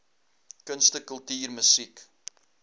kunste kultuur musiek